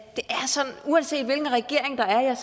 uanset hvilken regering der er